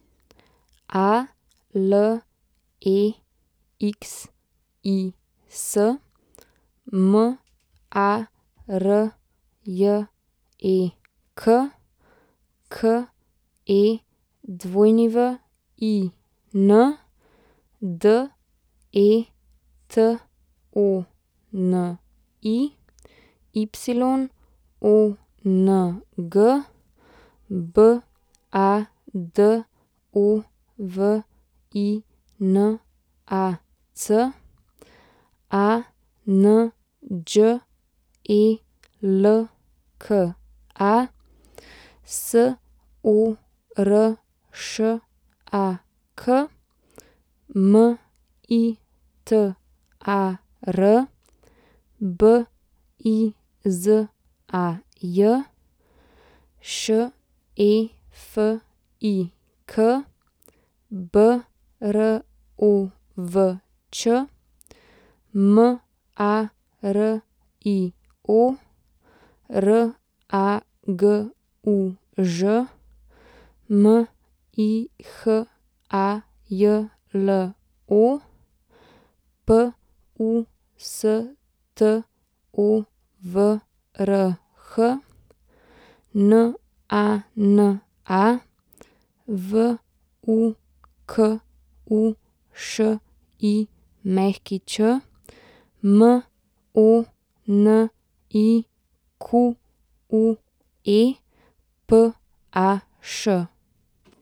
Alexis Marjek, Kewin Detoni, Yong Badovinac, Anđelka Soršak, Mitar Bizaj, Šefik Brovč, Mario Raguž, Mihajlo Pustovrh, Nana Vukušić, Monique Paš.